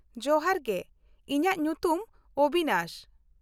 ᱡᱚᱦᱟᱨ ᱜᱮ, ᱤᱧᱟᱹᱜ ᱧᱩᱛᱩᱢ ᱚᱵᱤᱱᱟᱥ ᱾